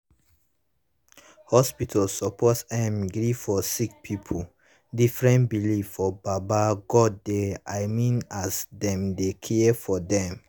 hospitas suppos erm gree for sicki pipu different beliefs for baba godey i mean as dem dey care for dem